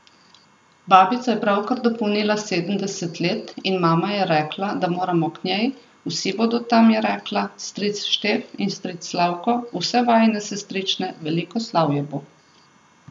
Babica je pravkar dopolnila sedemdeset let in mama je rekla, da moramo k njej, vsi bodo tam, je rekla, stric Štef in stric Slavko, vse vajine sestrične, veliko slavje bo.